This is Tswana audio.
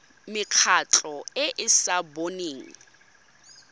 mekgatlho e e sa boneng